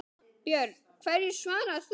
Björn: Hverju svarar þú því?